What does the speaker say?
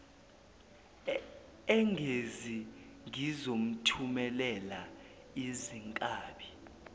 engezi ngizomthumelela izinkabi